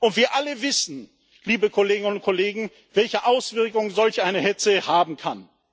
Und wir alle wissen, liebe Kolleginnen und Kollegen, welche Auswirkungen solch eine Hetze haben kann.